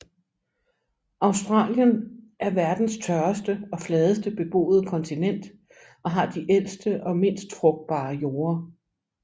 Australien er verdens tørreste og fladeste beboede kontinent og har de ældste og mindst frugtbare jorder